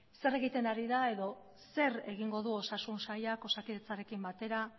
zer egiten ari da edo zer egingo du osasun sailak osakidetzarekin batera